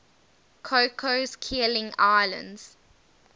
cocos keeling islands